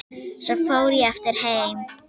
Svo fór ég aftur heim.